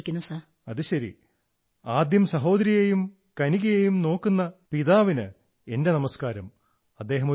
അരേ വാഹ് so first of all I will do the pranam to your father who is taking lot of care your sister and yourself